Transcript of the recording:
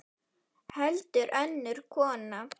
Heldur önnur kona.